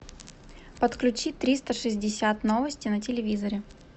подключи триста шестьдесят новости на телевизоре